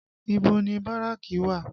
Ibo ni Báràkì wà?